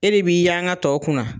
E de b'i yanka tɔw kunna.